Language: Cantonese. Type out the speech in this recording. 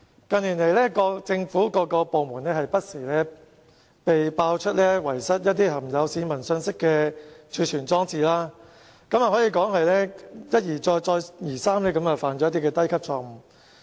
近年來，不同政府部門不時被揭露遺失含有市民個人資料的儲存裝置，可以說是一而再，再而三地犯下低級錯誤。